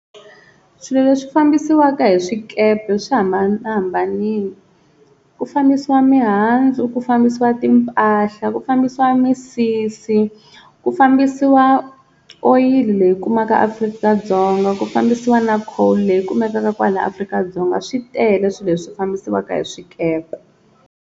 Swilo leswi fambisiwaka hi swikepe swi hambanahambanini, ku fambisiwa mihandzu ku fambisiwa timpahla ku fambisiwa misisi ku fambisiwa oyili leyi kumaka Afrika-Dzonga, ku fambisiwa na coal leyi kumekaka kwala Afrika-Dzonga swi tele swilo leswi fambisiwaka hi swikepe.